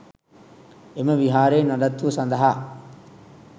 එම විහාරයේ නඩත්තුව සඳහා